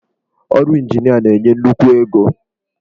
Ọrụ injinia na-enye nnukwu ego.